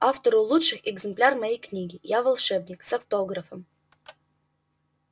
автору лучших экземпляр моей книги я волшебник с автографом